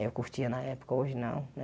Eu curtia na época, hoje não, né?